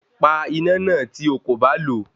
Pa iná náà tí okò bá lo